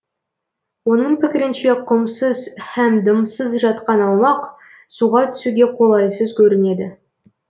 оның пікірінше құмсыз һәм дымсыз жатқан аумақ суға түсуге қолайсыз көрінеді